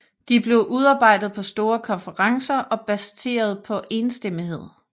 De blev udarbejdet på store konferencer og baseret på enstemmighed